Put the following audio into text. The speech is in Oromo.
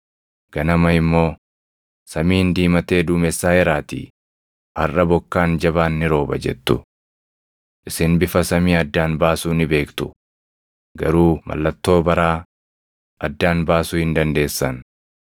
ganama immoo, ‘Samiin diimatee duumessaaʼeeraatii harʼa bokkaan jabaan ni rooba’ jettu. Isin bifa samii addaan baasuu ni beektu; garuu mallattoo baraa addaan baasuu hin dandeessan.